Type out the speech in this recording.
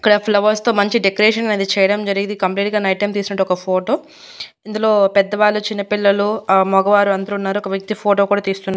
ఇక్కడ ఫ్లవర్స్ తో మంచి డెకరేషన్ అనేది చేయడం జరిగింది ఇది కంప్లీట్ గా నైట్ టైం తీసినట్టువంటి ఒక ఫోటో. ఇందులో పెద్దవాళ్ళు చిన్నపిల్లలు ఆ మగవాళ్ళు అందరూ ఉన్నారు ఒక వ్యక్తి ఫోటో కూడా తీస్తున్నాడు.